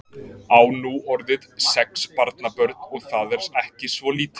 Á nú orðið sex barnabörn og það er ekki svo lítið.